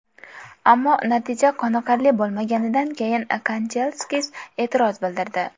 Ammo natija qoniqarli bo‘lmaganidan keyin Kanchelskis e’tiroz bildirdi.